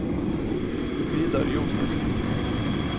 Vidar Josefsen